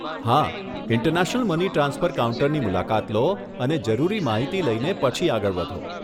હા, international money transfer કાઉન્ટરની મુલાકાત લો અને જરૂરી માહિતી લઈને પછી આગળ વધો.